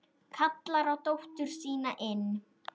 Kallar á dóttur sína inn.